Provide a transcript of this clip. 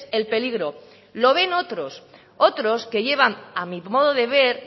el peligro lo ven otros otros que llevan a mi modo de ver